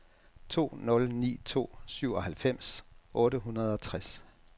to nul ni to syvoghalvfems otte hundrede og tres